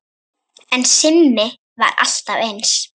En Simmi var alltaf eins.